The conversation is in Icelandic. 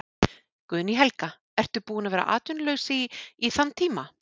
Guðný Helga: Ertu búin að vera atvinnulaus í, í þann tíma?